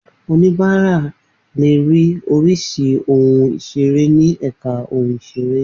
Oníbàárà le ri oríṣi oun ìṣeré ni èka oun ìṣeré